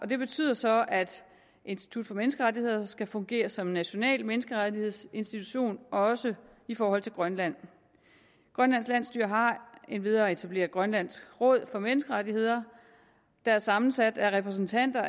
det betyder så at institut for menneskerettigheder skal fungere som en national menneskerettighedsinstitution også i forhold til grønland grønlands landsstyre har endvidere etableret grønlands råd for menneskerettigheder der er sammensat af repræsentanter